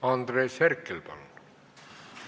Andres Herkel, palun!